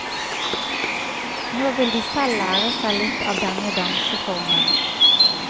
Nå vil de selv lære seg litt av denne danseformen.